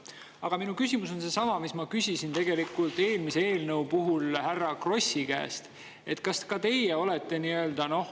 Aga minu küsimus on seesama, mida ma küsisin eelmise eelnõu härra Krossi käest.